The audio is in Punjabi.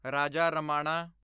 ਰਾਜਾ ਰਮਾਣਾ